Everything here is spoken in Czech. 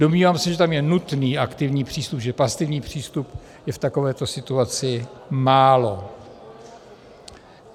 Domnívám se, že tam je nutný aktivní přístup, že pasivní přístup je v takovéto situaci málo.